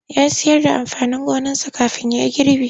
Ya sayar da amfanin gonarsa kafin ya yi gribi.